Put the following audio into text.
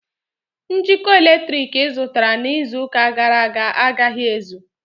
Njikọ eletriki ị zụtara n'izu ụka gàrà aga agaghi ézù